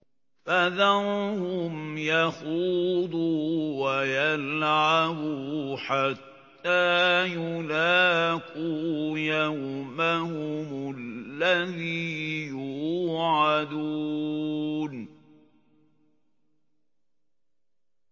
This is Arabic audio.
فَذَرْهُمْ يَخُوضُوا وَيَلْعَبُوا حَتَّىٰ يُلَاقُوا يَوْمَهُمُ الَّذِي يُوعَدُونَ